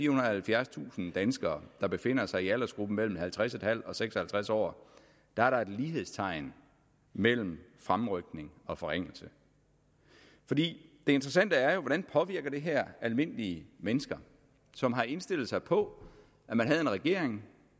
og halvfjerdstusind danskere der befinder sig i aldersgruppen mellem halvtreds en halv og seks og halvtreds år er der et lighedstegn mellem fremrykning og forringelse det interessante er jo hvordan det påvirker almindelige mennesker som har indstillet sig på at man havde en regering